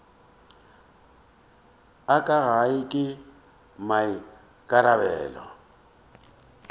a ka gae ke maikarabelo